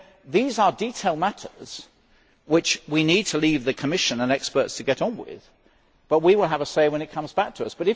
These are detailed matters which we need to leave the Commission and experts to get on with, but we will have a say when it comes back to us.